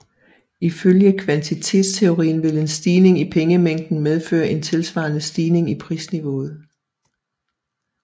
Ifølge kvantitetsteorien vil en stigning i pengemængden medføre en tilsvarende stigning i prisniveauet